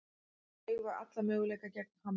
Eigum alla möguleika gegn Hamri